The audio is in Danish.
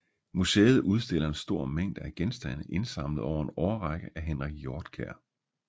Museet udstiller en stor mængde af genstande indsamlet over en årrække af Henrik Hjortkær